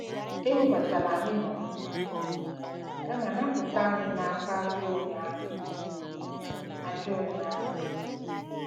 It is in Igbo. "Ewebatala anyị n'ọnwụnwa, kama napụta anyị n'aka ajọ onye ahụ." ajọ onye ahụ."